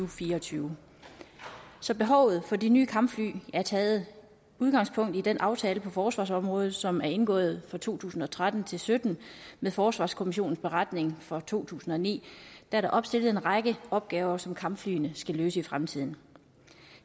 fire og tyve så behovet for de nye kampfly har taget udgangspunkt i den aftale på forsvarsområdet som er indgået for to tusind og tretten til sytten med forsvarskommissionens beretning fra to tusind og ni er der opstillet en række opgaver som kampflyene skal løse i fremtiden